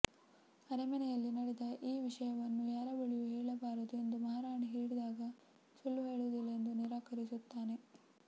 ಅರಮನೆಯಲ್ಲಿ ನಡೆದ ಈ ವಿಷಯವನ್ನು ಯಾರ ಬಳಿಯೂ ಹೇಳಬಾರದು ಎಂದು ಮಹಾರಾಣಿ ಹೇಳಿದಾಗ ಸುಳ್ಳು ಹೇಳುವುದಿಲ್ಲ ಎಂದು ನಿರಾಕರಿಸುತ್ತಾನೆ